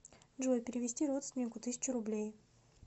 джой перевести родственнику тысячу рублей